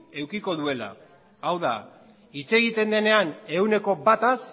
edukiko duela hau da hitz egiten denean ehuneko bataz